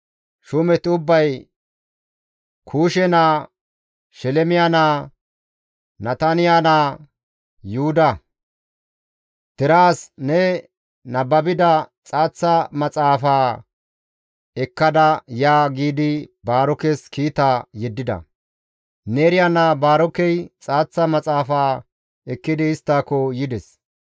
shuumeti ubbay Kuushe naa, Shelemiya naa, Nataniya naa Yuhuda, «Deraas ne nababida xaaththa maxaafaa ekkada ya» giidi Baarokes kiita yeddida; Neeriya naa Baarokey xaaththa maxaafa ekkidi isttako yides;